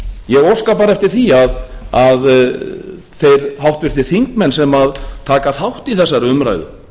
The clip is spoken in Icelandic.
ég óska bara eftir því að þeir háttvirtir þingmenn sem taka þátt í þessari umræðu